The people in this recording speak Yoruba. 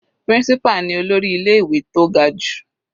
Principal ni olórí ilé ìwé tó ga jù.